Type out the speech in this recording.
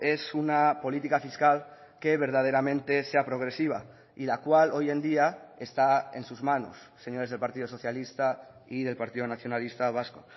es una política fiscal que verdaderamente sea progresiva y la cual hoy en día está en sus manos señores del partido socialista y del partido nacionalista vasco